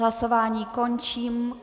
Hlasování končím.